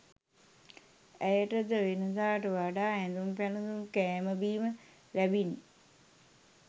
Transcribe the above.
ඇයටද වෙනදාට වඩා ඇඳුම් පැළඳුම් කෑම බීම ලැබිණි